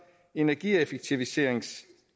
energieffektiviseringsdelen